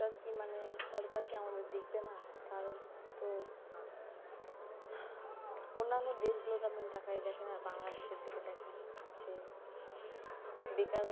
সরকার কি মানে সরকার কি আমাদের দেখবে না তার তো অন্যান্য দেশ গুলিতে তাকায়া দেখেন আর বাংলাদেশে এর দিকে দেখেন যে বেকারত্ব,